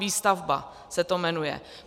Výstavba se to jmenuje.